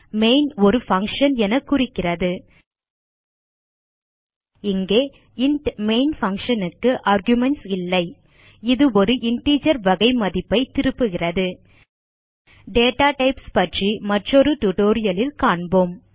main ஒரு function என குறிக்கிறது இங்கே இன்ட் மெயின் பங்ஷன் க்கு ஆர்குமென்ட்ஸ் இல்லை இது ஒரு இன்டிஜர் வகை மதிப்பைத் திருப்புகிறது டேட்டா டைப்ஸ் பற்றி மற்றொரு டியூட்டோரியல் லில் காண்போம்